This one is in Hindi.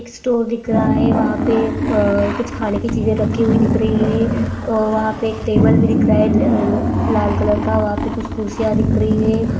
एक स्टोर दिख रहा है वहां पे कुछ खाने की चीजे रखी हुई दिख रही है और आ वहां पे एक टेबल भी दिख रहा है ला ला लाल कलर का वहाँ पे कुछ कुर्सियां दिख रही है।